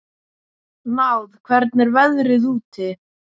Náð, hvernig er veðrið úti?